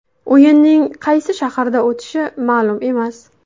O‘yinning qaysi shaharda o‘tishi ma’lum emas.